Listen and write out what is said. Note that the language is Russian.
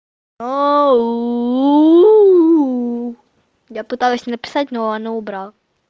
о у у я пыталась написать но она убрала